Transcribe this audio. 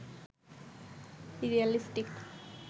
realistic